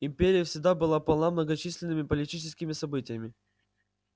империя всегда была полна многочисленными политическими событиями